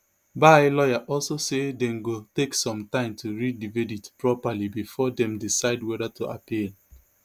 bye lawyer also say dem go take some time to read di verdict properly bifor dem decide weda to appeal